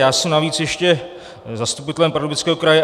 Já jsem navíc ještě zastupitelem Pardubického kraje.